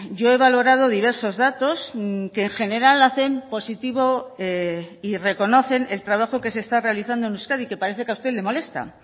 yo he valorado diversos datos que en general hacen positivo y reconocen el trabajo que se está realizando en euskadi que parece que a usted le molesta